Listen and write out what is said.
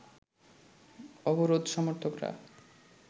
অবরোধ সমর্থকরা